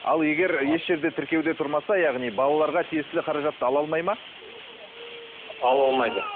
ал егер еш жерде тіркеуде тұрмаса яғни балаларға тиесілі қаражатты ала алмайды ма ала алмайды